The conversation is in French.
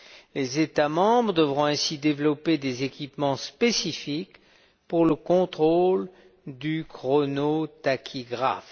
Les États membres devront ainsi développer des équipements spécifiques pour le contrôle du chronotachygraphe.